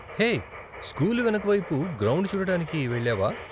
హే, school వెనకవైపు ground చూడటానికి వెళ్ళావా?